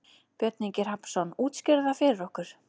Björn Ingi Hrafnsson: Útskýrðu það fyrir okkur?